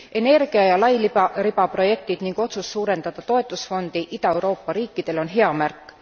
Energia ja lairibaprojektid ning otsus suurendada toetusfondi Ida Euroopa riikidele on hea märk.